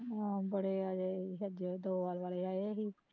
ਆਹੋ ਬੜੇ ਆਏ ਸ਼ੈਦ ਦੋਆਲ ਵਾਲੇ ਆਏ ਸੀ